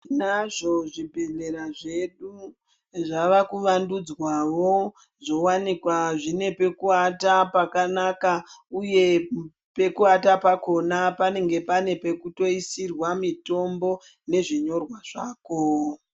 Tinazvo zvibhedhlera zvedu zvavakuvandudzwawo zvowanikwa zvine pakuvata pakanaka uye pakuvata pakona panenge pane pekutoisirwa mitombo nezvinyorwa zvako.